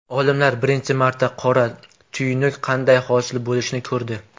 Olimlar birinchi marta qora tuynuk qanday hosil bo‘lishini ko‘rdi.